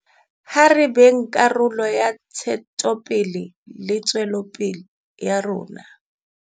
Ha re beng karolo ya ntshetsopele le tswelopele ya rona.